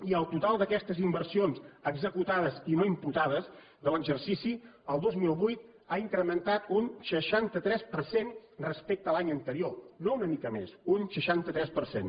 i el total d’aquestes inversions executades i no imputades de l’exercici el dos mil vuit ha incrementat un seixanta tres per cent respecte a l’any anterior no una mica més un seixanta tres per cent